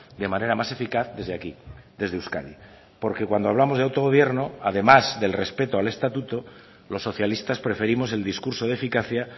de manera más eficaz desde aquí desde euskadi porque cuando hablamos de autogobierno además del respeto al estatuto los socialistas preferimos el discurso de eficacia